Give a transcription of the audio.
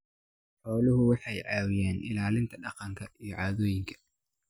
Xooluhu waxay caawiyaan ilaalinta dhaqanka iyo caadooyinka.